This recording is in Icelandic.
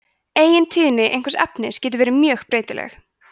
eigintíðni einhvers efnis getur verið mjög breytileg